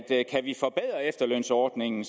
efterlønsordningen